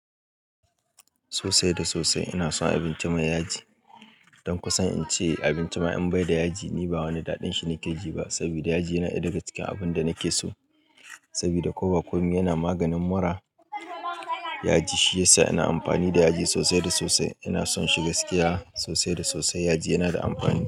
Sosai da sosai ina son abinci mai yaji. Don kusan in ce abinci ma in bai da yaji ni ba wani daɗin shi nake ji ba. Sabida yaji yana ɗaya daga cikin abun da nake so. Sabida ko ba kome yana maganin mura. Yaji shi yasa ina amfani da yaji sosai da sosai. Ina son shi gaskiya sosai da sosai. Yaji yana da amfani.